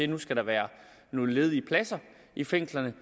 der skal være nogle ledige pladser i fængslerne